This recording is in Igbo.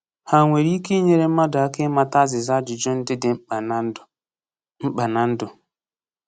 Ha nwere ike inyere mmadụ aka ịmata azịza ajụjụ ndị dị mkpa na ndụ? mkpa na ndụ?